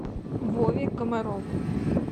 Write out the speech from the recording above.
вове комарову